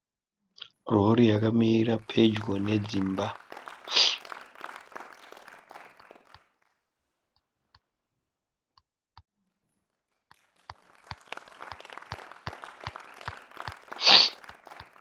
Rori yakamira pedyo nedzimba.